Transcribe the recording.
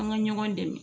An ka ɲɔgɔn dɛmɛ